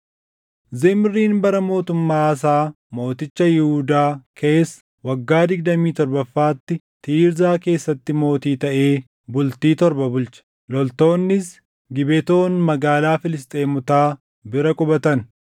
Zimriin bara mootummaa Aasaa mooticha Yihuudaa keessa waggaa digdamii torbaffaatti Tiirzaa keessatti mootii taʼee bultii torba bulche. Loltoonnis Gibetoon magaalaa Filisxeemotaa bira qubatan.